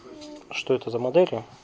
что это за модели